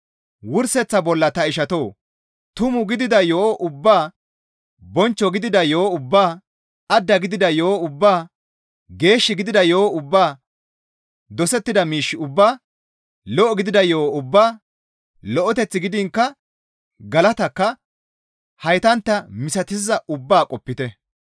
Wurseththa bolla ta ishatoo! Tumu gidida yo7o ubbaa, bonchcho gidida yo7o ubbaa, adda gidida yo7o ubbaa, geeshshi gidida yo7o ubbaa, dosettida miish ubbaa, lo7o gidida yo7o ubbaa, lo7eteth gidiinkka galatakka haytantta misatizaaz ubbaa qopite.